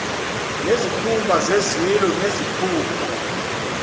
nezikhumba zezilo nezikhumba